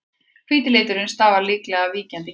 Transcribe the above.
hvíti liturinn stafar líklega af víkjandi geni